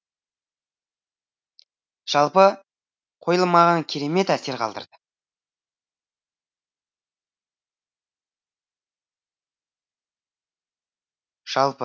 жалпы қойылым маған кермет әсер қалдырды